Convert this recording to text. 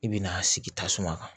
I bɛna sigi tasuma kan